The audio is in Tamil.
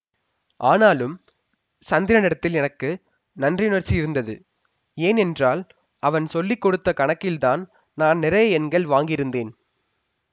ஆனாலும் சந்திரனிடத்தில் எனக்கு நன்றியுணர்ச்சி இருந்தது ஏன் என்றால் அவன் சொல்லி கொடுத்த கணக்கில்தான் நான் நிறைய எண்கள் வாங்கியிருந்தேன்